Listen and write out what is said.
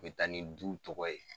A bɛ taa ni du tɔgɔ ye.